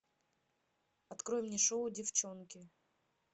открой мне шоу девчонки